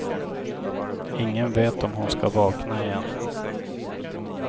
Ingen vet om hon ska vakna igen.